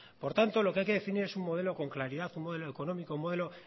por tanto lo que hay que definir es un modelo con claridad un modelo económico un modelo